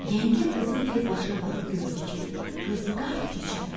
Yengə qızın tez başına baxıb gördü ki, qız qart keçəldi.